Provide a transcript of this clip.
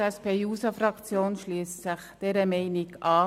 Die SP-JUSO-PSA-Fraktion schliesst sich dieser Meinung an.